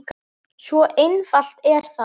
Svo einfalt er það!